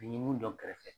N ɲe mun dɔn kɛrɛfɛ